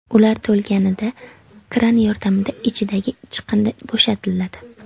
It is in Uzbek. Ular to‘lganida kran yordamida ichidagi chiqindi bo‘shatiladi.